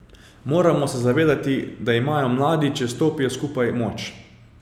Moramo se zavedati, da imajo mladi, če stopijo skupaj, moč.